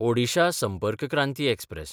Odisha Sampark Kranti express